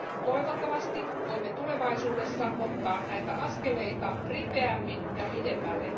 Toivottavasti voimme tulevaisuudessa ottaa näitä askeleita ripeämmin ja pidemmälle.